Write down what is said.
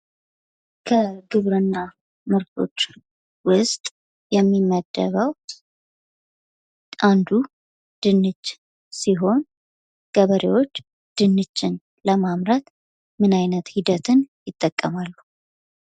ከግብርና ምርቶች ውስጥ የሚመደበው አንዱ ድንች ሲሆን ገበሬዎች ድንችል ለማምረት ምን አይነት ሂደትን ይጠቀማሉ?